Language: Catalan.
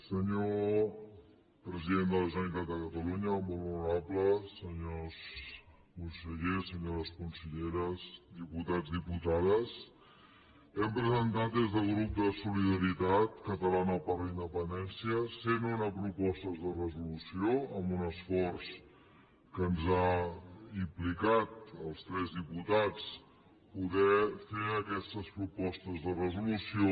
senyor president de la generalitat de catalunya molt honorable senyors consellers senyores conselleres diputats diputades hem presentat des del grup de solidaritat catalana per la independència cent una propostes de resolució amb un esforç que ens ha implicat als tres diputats poder fer aquestes propostes de resolució